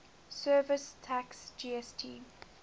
services tax gst